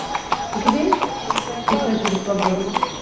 у тебя есть писатели свободы